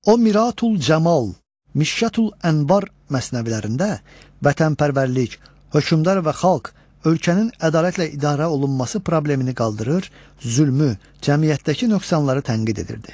O Miratül-Cəmal, Mişkətül-Ənvar məsnəvilərində vətənpərvərlik, hökmdar və xalq, ölkənin ədalətlə idarə olunması problemini qaldırır, zülmü, cəmiyyətdəki nöqsanları tənqid edirdi.